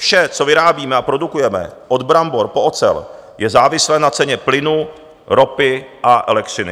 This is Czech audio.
Vše, co vyrábíme a produkujeme, od brambor po ocel, je závislé na ceně plynu, ropy a elektřiny.